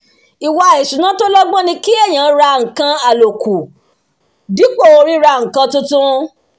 ìwà ìṣúná tó lọ́gbọ́n ni kí èèyàn rà nǹkan aloku dípò ríra nǹkan tuntun